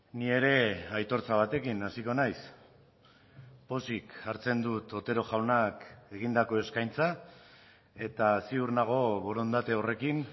ni ere aitortza batekin hasiko naiz pozik hartzen dut otero jaunak egindako eskaintza eta ziur nago borondate horrekin